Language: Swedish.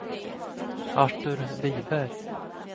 Artur Viberg